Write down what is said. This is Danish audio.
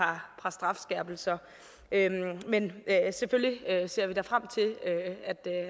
par strafskærpelser men selvfølgelig ser vi da frem til